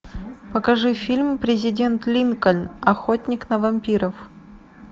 покажи фильм президент линкольн охотник на вампиров